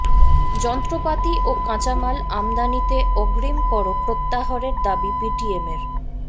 যন্ত্রপাতি ও কাঁচামাল আমদানিতে অগ্রিম কর প্রত্যাহারের দাবি বিটিএমএর